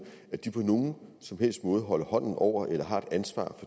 at de på nogen som helst måde holder hånden over eller har et ansvar